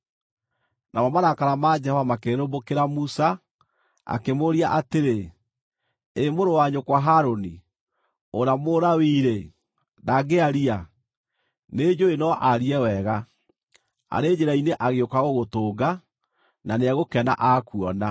Namo marakara ma Jehova makĩrĩrĩmbũkĩra Musa, akĩmũũria atĩrĩ, “Ĩ mũrũ wa nyũkwa Harũni, ũrĩa Mũlawii-rĩ, ndangĩaria? Nĩnjũũĩ no aarie wega. Arĩ njĩra-inĩ agĩũka gũgũtũnga, na nĩegũkena akuona.